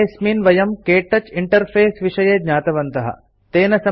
पाठेऽस्मिन् वयं क्तौच इंटरफेस विषये ज्ञातवन्तः